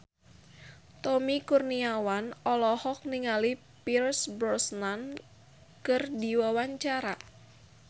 Tommy Kurniawan olohok ningali Pierce Brosnan keur diwawancara